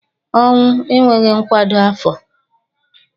ọnwụ enweghi nkwado afo